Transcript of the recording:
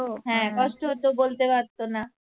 হ্যাঁ কষ্ট হতো বলতে পারতো না